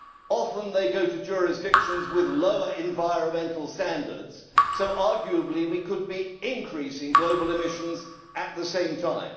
Often they go to jurisdictions with lower environmental standards, so arguably we could be increasing global emissions at the same time.